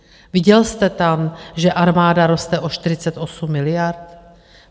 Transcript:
Viděl jste tam, že armáda roste o 48 miliard?